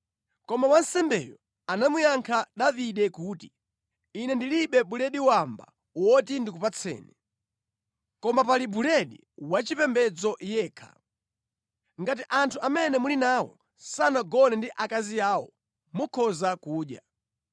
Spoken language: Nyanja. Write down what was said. Koma wansembeyo anamuyankha Davide kuti, “Ine ndilibe buledi wamba woti ndikupatseni. Koma pali buledi wachipembedzo yekha. Ngati anthu amene muli nawo sanagone ndi akazi awo mukhoza kudya.”